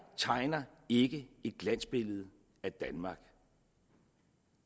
tegner ikke et glansbillede af danmark